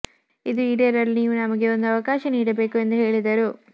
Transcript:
ಇದು ಈಡೇರಲು ನೀವು ನಮಗೆ ಒಂದು ಅವಕಾಶ ನೀಡಬೇಕು ಎಂದು ಹೇಳಿದರು